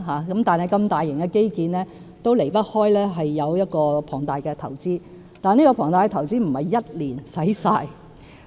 然而，如此大型的基建當然離不開龐大的投資，但這龐大的投資不是1年便用盡的。